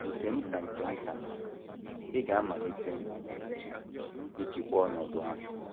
Nke nta nke nta, ị ga - amalite ịchịkwa ọnọdụ ahụ.